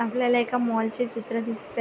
आपल्याला एका मॉल चे चित्र दिसतय.